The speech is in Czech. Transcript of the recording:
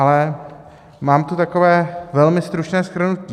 Ale mám tu takové velmi stručné shrnutí.